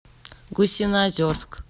гусиноозерск